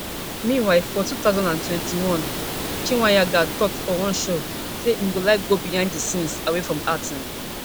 meanwhile for two thousand and twenty-one chweneyagae tok for one show say im go like go behind di scenes away from acting